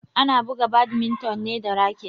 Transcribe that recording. Ana buga badminton ne da raket.